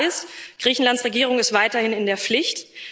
Klar ist Griechenlands Regierung ist weiterhin in der Pflicht.